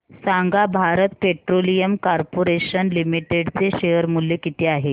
सांगा Bharat Petroleum Corporation Limited चे share मूल्य किती आहे